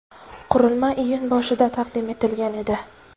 Qurilma iyun boshida taqdim etilgan edi.